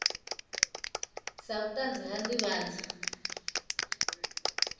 sa vhutanzi ha u ndivhadzo